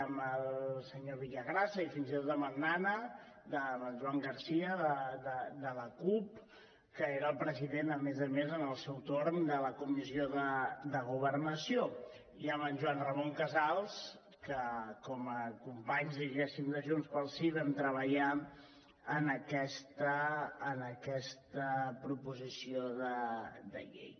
amb el senyor villagrasa i fins i tot amb en nana amb en joan garcia de la cup que era el president a més a més en el seu torn de la comissió de governació i amb en joan ramon casals que com a companys de junts pel sí vam treballar en aquesta proposició de llei